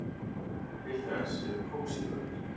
Til þess eru kósí föt.